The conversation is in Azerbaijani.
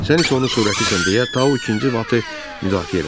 Sən heç onun surətisən deyə Tao ikinci vatonu müdafiə elədi.